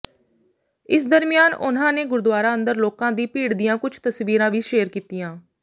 ਇਸ ਦਰਮਿਆਨ ਉਨ੍ਹਾਂ ਨੇ ਗੁਰਦੁਆਰਾ ਅੰਦਰ ਲੋਕਾਂ ਦੀ ਭੀੜ ਦੀਆਂ ਕੁਝ ਤਸਵੀਰਾਂ ਵੀ ਸ਼ੇਅਰ ਕੀਤੀਆਂ